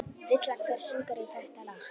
Villa, hver syngur þetta lag?